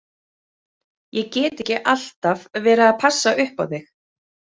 Ég get ekki alltaf verið að passa upp á þig.